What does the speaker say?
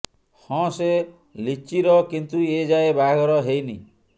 ହଁ ସେ ଲିଚିର କିନ୍ତୁ ଏ ଯାଏଁ ବାହାଘର ହେଇନି